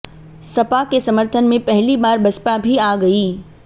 सपा के सर्मथन में पहली बार बसपा भी आ गई